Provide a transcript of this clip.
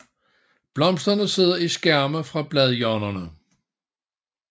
Blomsterne sidder i skærme fra bladhjørnerne